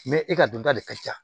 e ka dunta de ka ca